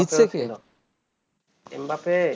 জিতছে কে